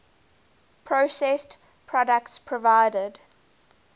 processed products provided